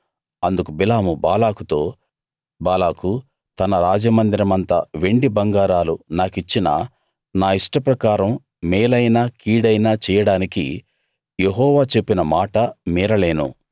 అందుకు బిలాము బాలాకుతో బాలాకు తన రాజమందిరమంత వెండి బంగారాలు నాకిచ్చినా నా ఇష్టప్రకారం మేలైనా కీడైనా చెయ్యడానికి యెహోవా చెప్పిన మాట మీరలేను